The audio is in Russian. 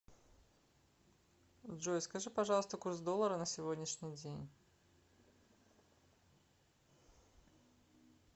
джой скажи пожалуйста курс доллара на сегодняшний день